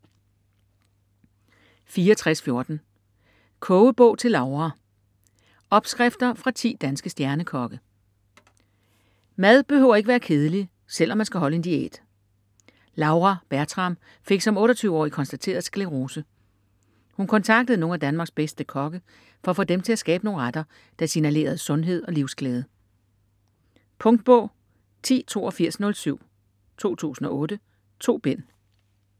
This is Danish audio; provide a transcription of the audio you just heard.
64.14 Kogebog til Laura: opskrifter fra 10 danske stjernekokke Mad behøver ikke være kedelig, selv om man skal holde en diæt. Laura Bertram fik som 28-årig konstateret sklerose. Hun kontaktede nogle af Danmarks bedste kokke for at få dem til at skabe nogle retter, der signalerede sundhed og livsglæde. Punktbog 108207 2008. 2 bind.